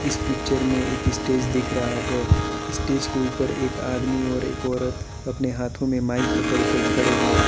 इस पिक्चर में एक स्टेज दिख रहा है स्टेज के ऊपर एक आदमी और एक औरत अपने हाथ में माइक पकड़ के खड़े हैं।